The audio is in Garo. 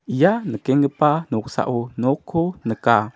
ia nikenggipa noksao nokko nika.